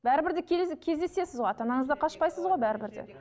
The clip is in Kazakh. бәрібір де кездесесіз ғой ата анаңыздан қашпайсыз ғой бәрібір де